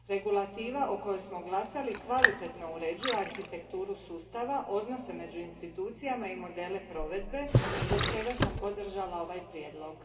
Regulativa za koju smo glasali kvalitetno uređuje arhitekturu sustava, odnose među institucijama i modele provedbe, zbog čega sam podržala ovaj prijedlog.